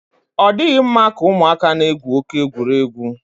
ọ dịghị mma ka ụmụaka na-egwu oke egwuregwu.